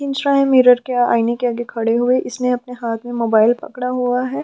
Enjoy mirror के आईने के आगे खड़े हुए इसने अपने हाथ में मोबाइल पकड़ा हुआ हैं।